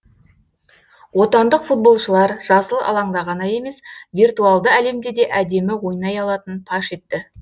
отандық футболшылар жасыл алаңда ғана емес виртуалды әлемде де әдемі ойнай алатынын паш етті